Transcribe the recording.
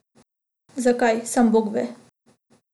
Zakaj, sam bog ve.